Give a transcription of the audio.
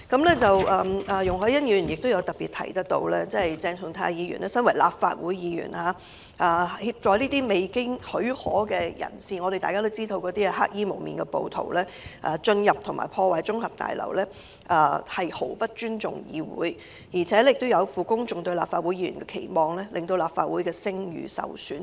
此外，容海恩議員亦特別提到，鄭松泰議員身為立法會議員，協助該等未經許可人士——大家也知道那些是黑衣蒙面的暴徒——進入及破壞綜合大樓，毫不尊重議會，亦有負公眾對立法會議員的期望，令立法會聲譽受損。